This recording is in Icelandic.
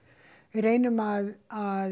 reynum að að